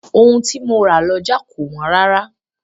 Ohun tí mo ra lọ́jà kò wọ́n rárá.